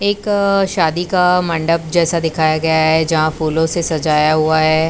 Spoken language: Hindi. एक शादी का मंडप जैसा दिखाया गया है जहां फूलों से सजाया हुआ है।